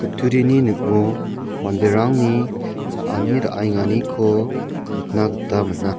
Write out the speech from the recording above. kutturini ning·o manderangni cha·ani ra·enganiko nikna gita man·a.